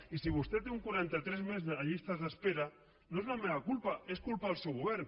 i si vostè té un quaranta tres per cent més de llistes d’espera no és la meva culpa és culpa del seu govern